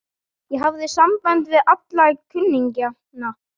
Ég hafði samband við alla kunningjana.